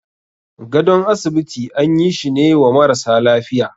gadon asibiti an yi shine wa marasa lafiya.